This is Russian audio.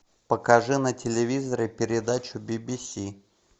покажи на телевизоре передачу би би си